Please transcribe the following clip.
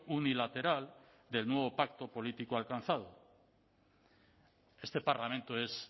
unilateral del nuevo pacto político alcanzado este parlamento es